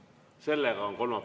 Kolmapäevane istung on lõppenud.